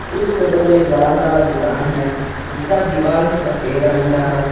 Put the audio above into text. इस फोटो में एक बड़ा सा दुकान है जिसका दीवाल सफेद रंग का है।